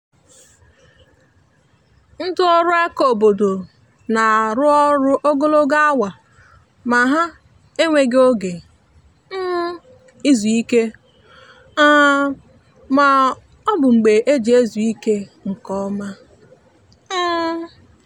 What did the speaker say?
ndị ọrụ aka obodo na-arụ ọrụ ogologo awa ma ha enweghi oge um izu ike um ma ọ bụ mgbe eji ezu ike nke ọma um